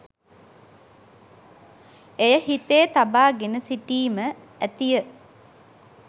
එය හිතේ තබා ගෙන සිටීම ඇතිය.